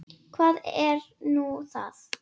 Hvað er nú það?